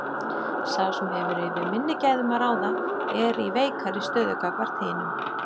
Sá sem hefur yfir minni gæðum að ráða er í veikari stöðu gagnvart hinum.